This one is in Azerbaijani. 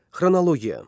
Xronologiya.